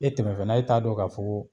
E tɛmɛ fɛna e t'a dɔn ka fɔ ko